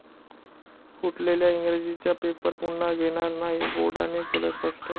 फुटलेल्या इंग्रजीचा पेपर पुन्हा घेणार नाही, बोर्डाने केलं स्पष्ट